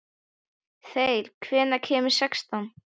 Þeyr, hvenær kemur sexan?